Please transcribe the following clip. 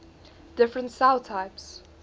different cell types